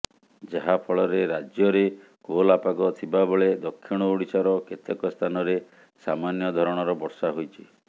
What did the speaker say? ଯାହା ଫଳରେ ରାଜ୍ୟରେ କୋହଲା ପାଗ ଥିବାବେଳେ ଦକ୍ଷିଣ ଓଡିଶାର କେତେକ ସ୍ଥାନରେ ସାମନ୍ୟ ଧରଣର ବର୍ଷା ହୋଇଛି